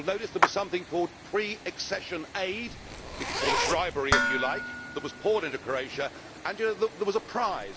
and you will notice that there was something called pre accession aid we can call it bribery if you like that was poured into Croatia, and there was a prize.